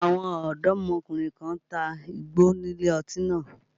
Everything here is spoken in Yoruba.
Àwọn ọ̀dọ́mọkùnrin kan ń ta igbó nílé ọtí náà